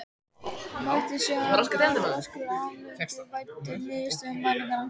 Mætti síðan galvaskur á aðalfund væddur niðurstöðum mælinganna.